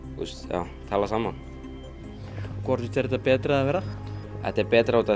já tala saman hvort finnst þér þetta betra eða verra þetta er betra út af